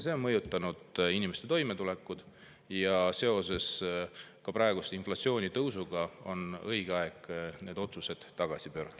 See on mõjutanud inimeste toimetulekut ja seoses praegu inflatsiooniga on õige aeg need otsused tagasi pöörata.